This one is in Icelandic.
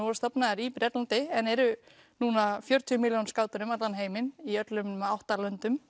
voru stofnaðir í Bretlandi en eru nú um fjörutíu milljón skátar um allan heim í alla vega átta löndum